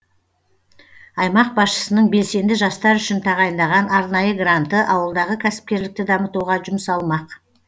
аймақ басшысының белсенді жастар үшін тағайындаған арнайы гранты ауылдағы кәсіпкерлікті дамытуға жұмсалмақ